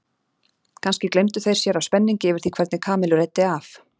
Kannski gleymdu þeir sér af spenningi yfir því hvernig Kamillu reiddi af?